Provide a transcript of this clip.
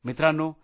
मित्रांनो